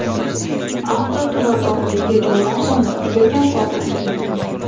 Avtoturargohdagi joylar soni juda kam qoldi.